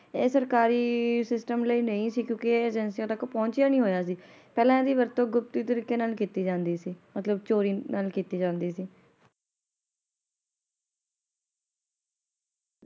ਇਹ ਸਰਕਾਰੀ system ਲਈ ਨਹੀ ਸੀ ਕਿਉਕਿ ਇਹ ਏਜੇਂਸੀਆਂ ਤਕ ਪਹੁੰਚਿਆ ਨਹੀਂ ਹੋਇਆ ਸੀ ।ਪਹਿਲਾ ਹਿੰਦੀ ਵਰਤੋਂ ਗੁਪਤ ਤਰੀਕੇ ਨਾਲ ਕਿੱਤੀ ਜਾਂਦੀ ਸੀ ਮਤਲਬ ਚੋਰੀ ਨਾਲ ਕਿੱਤੀ ਜਾਂਦੀ ਸੀ ।